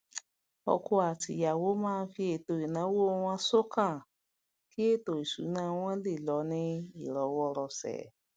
ọkọ àti ìyàwó má n fi eto ìnáwó wọn sókàn kí ẹtò ìsúná wọn lè lọ ní ìrọwọrọsẹ